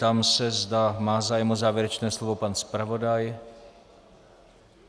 Ptám se, zda má zájem o závěrečné slovo pan zpravodaj.